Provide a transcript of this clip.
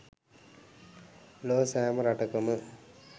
ලොව සෑම රටකම